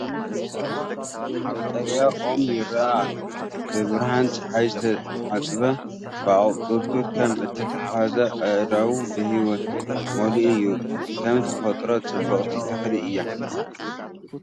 ቀጠልያ ኦም ይረአ ኣሎ ፣ ብብርሃን ጸሓይ ዝተሓጽበ፤ ኣቝጽልቱ ከም እተተሓሓዘ ኣእዳው ብህይወት መሊኡ እዩ። ከም ተፈጥሮ ጽብቕቲ ተኽሊ እያ።